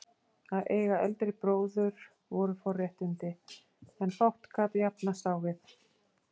Að eiga eldri bróður voru forréttindi, sem fátt gat jafnast á við.